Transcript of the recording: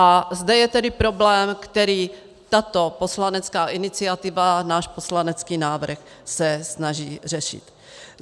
A zde je tedy problém, který tato poslanecká iniciativa, náš poslanecký návrh, se snaží řešit.